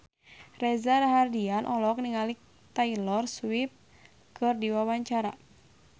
Reza Rahardian olohok ningali Taylor Swift keur diwawancara